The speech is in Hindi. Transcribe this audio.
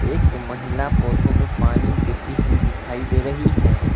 एक महिला पौधों में पानी देती हुई दिखाई दे रही है।